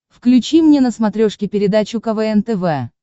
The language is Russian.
включи мне на смотрешке передачу квн тв